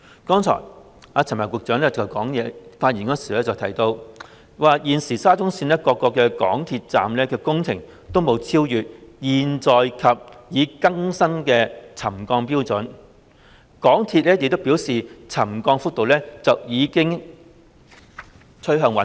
剛才陳帆局長在發言中提到，現時沙中線各個港鐵站的工程均沒有超越現有或已更新的沉降標準，港鐵公司亦表示沉降幅度已經趨向穩定。